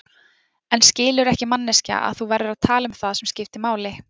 En skilurðu ekki manneskja að þú verður að tala um það sem skiptir máli.